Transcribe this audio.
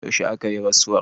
yaushe aka yi rasuwar